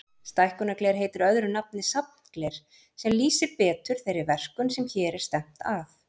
Stækkunargler heitir öðru nafni safngler, sem lýsir betur þeirri verkun sem hér er stefnt að.